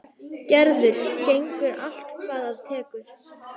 Gerður gengur allt hvað af tekur.